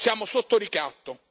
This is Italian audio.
Siamo sotto ricatto.